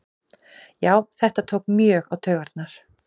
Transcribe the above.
Já þetta tók mjög á taugarnar